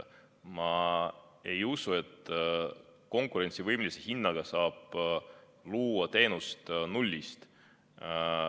Ma ei usu, et konkurentsivõimelise hinnaga saab luua teenust nullist.